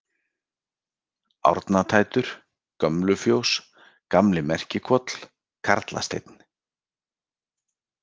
Árnatættur, Gömlufjós, Gamli-Merkihvoll, Karlasteinn